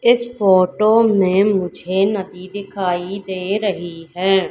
इस फोटो में मुझे नदी दिखाई दे रही है।